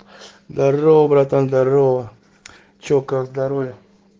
здорово братан здорово чё как здоровье